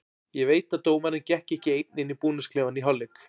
Ég veit að dómarinn gekk ekki einn inn í búningsklefann í hálfleik.